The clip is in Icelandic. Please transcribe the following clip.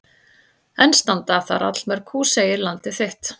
Enn standa þar allmörg hús segir Landið þitt.